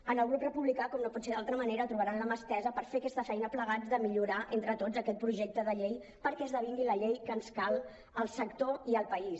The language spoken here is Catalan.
en el grup republicà com no pot ser d’altra manera trobaran la mà estesa per fer aquesta feina plegats de millorar entre tots aquest projecte de llei perquè esdevingui la llei que ens cal al sector i al país